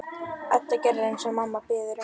Edda gerir eins og mamma biður um.